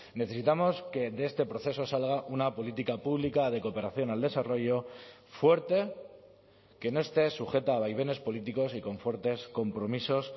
necesitamos que de este proceso salga una política pública de cooperación al desarrollo fuerte que no esté sujeta a vaivenes políticos y con fuertes compromisos